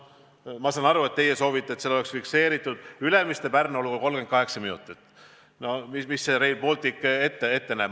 Ma saan aru, et teie soovite, et seal oleks fikseeritud: Ülemiste–Pärnu olgu 38 minutit, nagu Rail Baltic ette näeb.